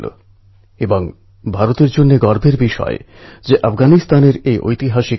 কিন্তু এজন্য বর্ষাকে দোষারোপ করা ঠিক নয়